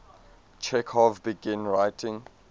chekhov began writing